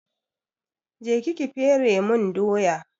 Je ki ki fere mun doya!